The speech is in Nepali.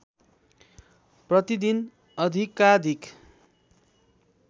प्रतिदिन अधिकाधिक